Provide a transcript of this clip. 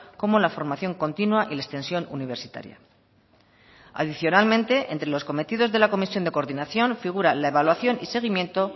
como la formación continua y la extensión universitaria adicionalmente entre los cometidos de la comisión de coordinación figura la evaluación y seguimiento